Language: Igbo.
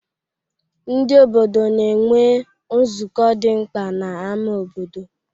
Ndị obodo na-enwe nzukọ dị mkpa n'ámá obodo.